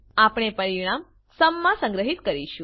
આપણે પરીણામ સુમ માં સંગ્રહીત કરીશું